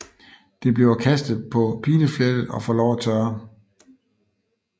Det bliver kastet på pileflettet og får lov at tørre